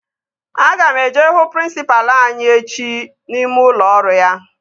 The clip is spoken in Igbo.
Aga m eje hụ prịnsịpalụ anyị echi n'ime ụlọ ọrụ ya